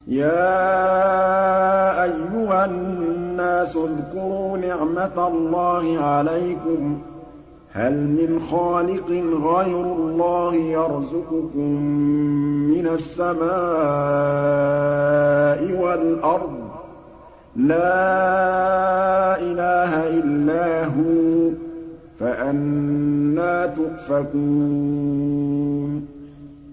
يَا أَيُّهَا النَّاسُ اذْكُرُوا نِعْمَتَ اللَّهِ عَلَيْكُمْ ۚ هَلْ مِنْ خَالِقٍ غَيْرُ اللَّهِ يَرْزُقُكُم مِّنَ السَّمَاءِ وَالْأَرْضِ ۚ لَا إِلَٰهَ إِلَّا هُوَ ۖ فَأَنَّىٰ تُؤْفَكُونَ